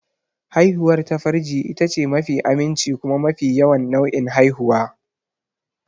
Haihuwar ta farji itace mafi aminci kuma mafi yawan nau'in haihuwa.